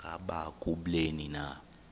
ngaba kubleni na